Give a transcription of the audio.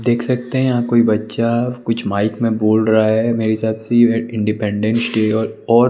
देख सकते हैं यहां कोई बच्चा कुछ माइक में बोल रहा है मेरे हिसाब से ये इंडिपेंडेंस डे और --